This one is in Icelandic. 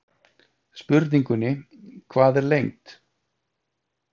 Spurningunni Hvað er lengd?